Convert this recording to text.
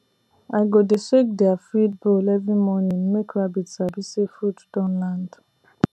i go dey shake their feed bowl every morning make rabbit sabi say food don land